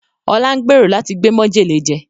Ọlá ń gbèrò láti gbé mọ́jèlé jẹ